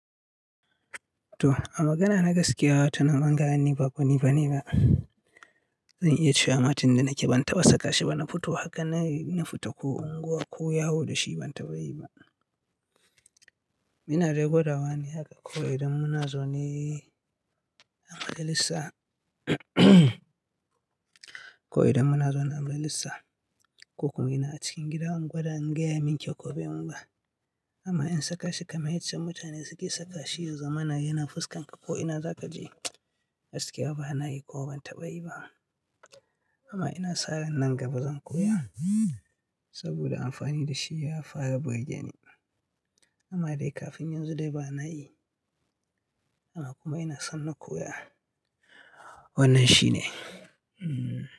To, a magana na gaskiya, wato na gane ba ko me ba ne ba. Zan iya cewa, matin da nake ban taɓa saka shi ba, na fito haka na nafito ko unguwa ko Yawo da shi ban taɓa yi ba. Ina dai gwadawa ne haka kawai idan munazo ne a majalisa ko idan muna zaune a majalissa. Ko kuma ina cikin gida ungwada in ga ya min kyau ko be mun ba. Amma in saka shi kamar yace mutane suke saka shi, ya zamana yana fuskarka ko ina za ka je, gaskiya ba na yi ko ban taɓa yi ba. Amma ina sa ran nan gaba zan koya saboda amfani da shi ya fara burge ni. Amma dai kafin yanzu dai ba na yi. Amma kuma ina son na koya. Wannan shi ne.